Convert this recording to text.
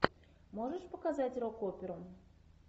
можешь показать рок оперу